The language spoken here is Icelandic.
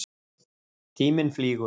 Tíminn flýgur.